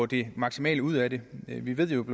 det maksimale ud af det vi ved jo at